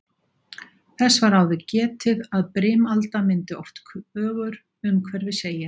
Þess var áður getið að brimalda myndi oft kögur umhverfis eyjar.